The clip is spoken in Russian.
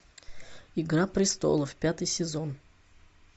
игра престолов пятый сезон